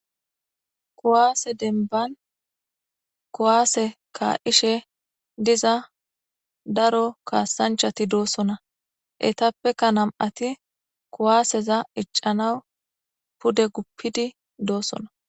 Kuwase demban kuwase kaa'ishe diza daro kaasanchati de'osona etapeka nam'ati kuwaseza icanawu pude gupidi doosona.